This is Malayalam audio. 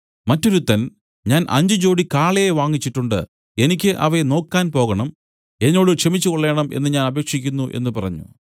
മറ്റൊരുത്തൻ ഞാൻ അഞ്ച് ജോടി കാളയെ വാങ്ങിച്ചിട്ടുണ്ട് എനിക്ക് അവയെ നോക്കാൻ പോകണം എന്നോട് ക്ഷമിച്ചുകൊള്ളേണം എന്നു ഞാൻ അപേക്ഷിക്കുന്നു എന്നു പറഞ്ഞു